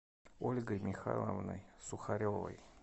ольгой михайловной сухаревой